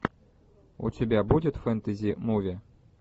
у тебя будет фэнтези муви